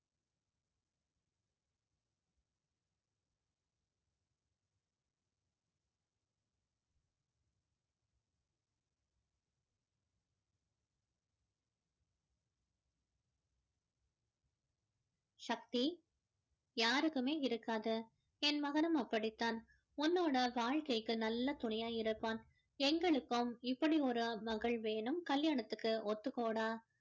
சக்தி யாருக்குமே இருக்காத என் மகனும் அப்படிதான் உன்னோட வாழ்கைக்கு நல்ல துணையா இருப்பான் எங்களுக்கும் இப்படி ஒரு மகள் வேணும் கல்யாணத்துக்கு ஒத்துக்கோடா